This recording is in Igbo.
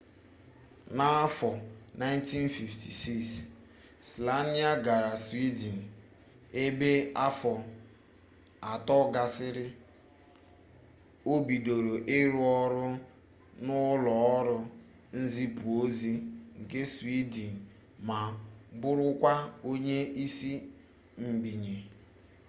n'afọ 1956 słania gara swiden ebe afọ atọ gasịrị o bidoro ịrụ ọrụ na ụlọ ọrụ nzipu ozi nke swiden ma bụrụkwa onye isi mbinye